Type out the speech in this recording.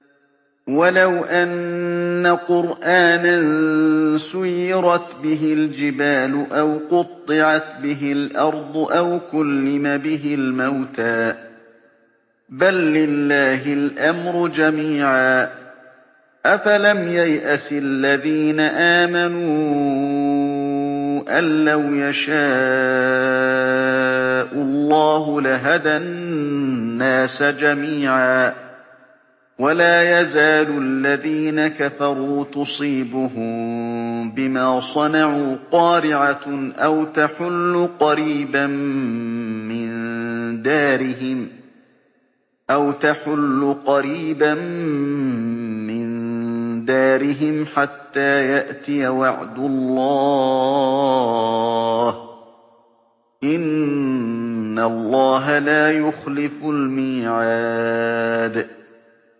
وَلَوْ أَنَّ قُرْآنًا سُيِّرَتْ بِهِ الْجِبَالُ أَوْ قُطِّعَتْ بِهِ الْأَرْضُ أَوْ كُلِّمَ بِهِ الْمَوْتَىٰ ۗ بَل لِّلَّهِ الْأَمْرُ جَمِيعًا ۗ أَفَلَمْ يَيْأَسِ الَّذِينَ آمَنُوا أَن لَّوْ يَشَاءُ اللَّهُ لَهَدَى النَّاسَ جَمِيعًا ۗ وَلَا يَزَالُ الَّذِينَ كَفَرُوا تُصِيبُهُم بِمَا صَنَعُوا قَارِعَةٌ أَوْ تَحُلُّ قَرِيبًا مِّن دَارِهِمْ حَتَّىٰ يَأْتِيَ وَعْدُ اللَّهِ ۚ إِنَّ اللَّهَ لَا يُخْلِفُ الْمِيعَادَ